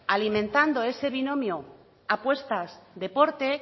alimentando ese binomio apuestas deporte